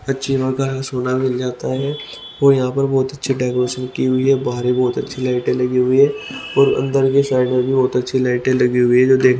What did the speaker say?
अच्छी सोना मिल जाता है और यहां पर बहुत अच्छे डेकोरेशन की हुई है बाहर भी बहुत अच्छी लाइटें लगी हुई है और अंदर भी साइड में भी बहुत अच्छी लाइटें लगी हुई है जो देख --